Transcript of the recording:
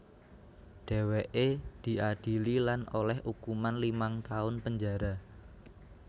Dhèwèké diadili lan olèh ukuman limang taun penjara